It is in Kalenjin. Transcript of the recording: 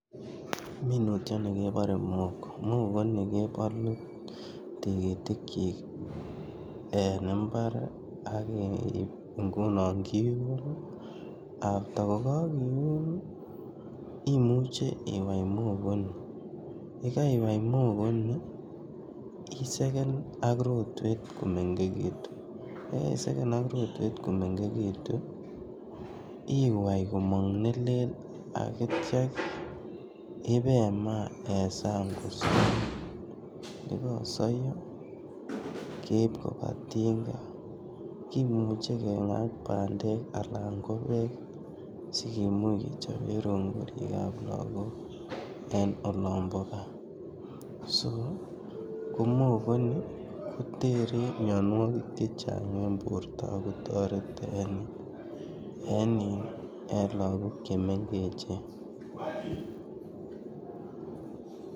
minutiani kebare muhogo, muhogo ini kebalu tigitikchik en imbar aitya iun after gogagiun imuche iwaii muogoini aitya isegen ak rotwet komengegitu agitya iwai gomang nelel aitya imaa eng saang ,ye gagosaiyo imuche iib tinga kengaa si ichobee rongorik. muhogo ini kotere mionowokik chechang eng borwek ago tareti lagok che mengechen